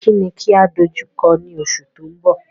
Kí ni kí á dojú kọ ní oṣù tó mbọ̀?